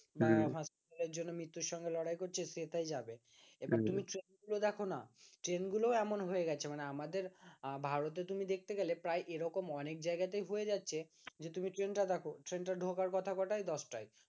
লোকজনে মৃত্যুর সঙ্গে লড়াই করছে, সে টাই যাবে এবার তুমি ট্রেনগুলো দেখো না ট্রেনগুলো এমন হয়ে গেছে মানে আমাদের ভারতে তুমি দেখতে গেলে প্রায় এরকম অনেক জায়গাতেই হয়ে যাচ্ছে যে তুমি ট্রেনটা দেখো ট্রেন টা ঢোকার কথা কটায় দশটায়